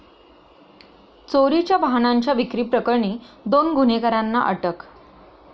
चोरीच्या वाहनांच्या विक्रीप्रकरणी दोन गुन्हेगारांना अटक